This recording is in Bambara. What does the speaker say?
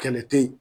Kɛlɛ te ye